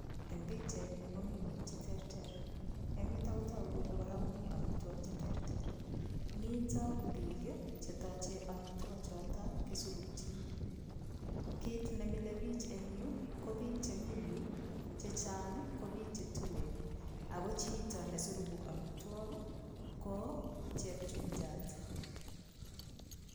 Eng' pikchaini komi biik cheterter eng' yuto kora kotoku kole mi omitwok cheterter mito biik chetochei omitwo choto kisurukchini kiit nemilei biich eng' yu ko biik chemi yu chechang' ko biik chetuen oko chito nesuruku omitwok ko chepchumchat